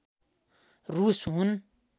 रूस हुन्